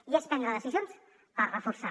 i és prendre decisions per reforçar